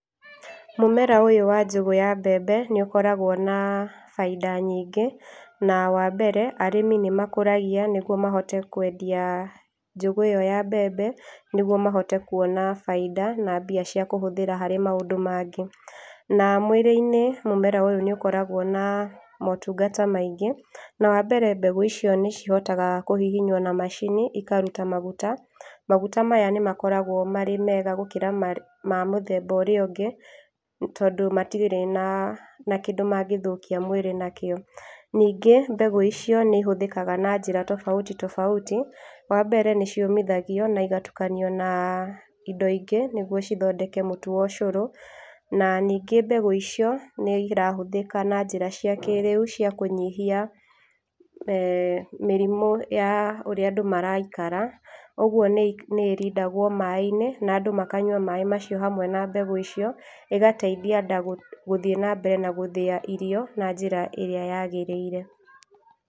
Mũmera ũyũ wa njũgũ ya mbembe nĩ ũkoragwo na baida nyingĩ. Na wa mbere, arĩmi nĩ makũragia nĩguo mahote kwendia njũgũ ĩyo ya mbembe nĩguo mahote kuona baida na mbia cia kũhũthĩra harĩ maũndũ mangĩ. Na mwĩrĩ-inĩ mũmeroyũ nĩ ũkoragwo na motungata maingĩ, na wa mbere mbegũ icio nĩ cihotaga kũhihinywo na macini ikaruta maguta. Maguta maya nĩmakoragwo marĩ mega gũkĩra marĩ, ma mũthemba ũrĩa ũngĩ tondũ matirĩ na, na kĩndũ mangĩthũkia mwĩrĩ nakĩo. Ningĩ mbegũ icio nĩ ihũthĩkaga na njĩra tofauti tofauti, wambere nĩ ciũmithagio na ĩgatukanio na indo ingĩ nĩguo cithondeke mũtu wocũrũ. Na ningĩ mbegũ icio nĩ irahũthĩka na njĩra cia kĩĩrĩu cia kũnyihia, mĩrimũ ya ũrĩa andũ maraikara, ũguo nĩ, nĩ ĩrindagwo maaĩ-inĩ na andũ makanyua maaĩ macio hamwe na mbegũ icio, ĩgateithia nda gũ, gũthiĩ na mbere na gũthĩya irio na njĩra ĩrĩa yagĩrĩire.